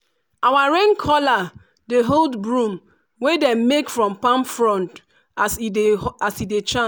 our rain caller dey hold broom wey dem make from palm frond as e dey as e dey chant.